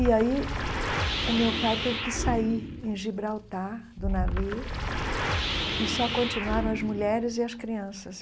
E aí o meu pai teve que sair em Gibraltar do navio e só continuaram as mulheres e as crianças.